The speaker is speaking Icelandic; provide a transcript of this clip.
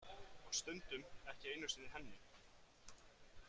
Og stundum ekki einu sinni henni.